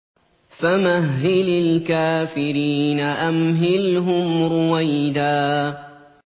فَمَهِّلِ الْكَافِرِينَ أَمْهِلْهُمْ رُوَيْدًا